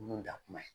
Nun da kuma ye